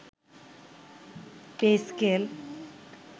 pay scale